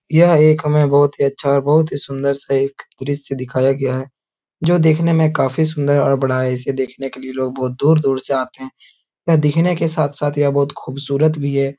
यह एक हमें बोहोत ही अच्छा और बोहोत ही सुंदर-सा एक दृश्य दिखाया गया है जो दिखने में काफी सुंदर और बड़ा है। इसे देखने के लिए लोग बहोत दूर-दूर से आते हैं। यह दिखने के साथ-साथ यह बहोत खुबसूरत भी है।